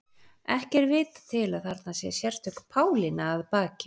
ekki er vitað til að þarna sé sérstök pálína að baki